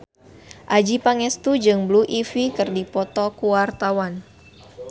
Adjie Pangestu jeung Blue Ivy keur dipoto ku wartawan